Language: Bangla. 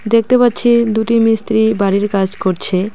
দেখতে পাচ্ছি দুটি মিস্ত্রি বাড়ির কাজ করছে।